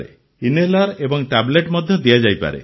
inhaler ଏବଂ tablet ମଧ୍ୟ ଦିଆଯାଇପାରେ